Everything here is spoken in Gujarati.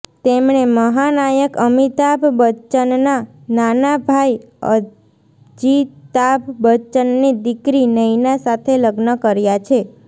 તેમણે મહાનાયક અમિતાભ બચ્ચનના નાના ભાઇ અજીતાભ બચ્ચનની દીકરી નૈના સાથે લગ્ન કર્યા છે